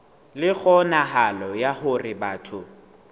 le kgonahalo ya hore batho